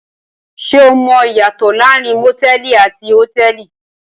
Ṣé o mọ ìyàtọ̀ láàárín motẹ̀ẹ̀li àti hotẹ́ẹ́li?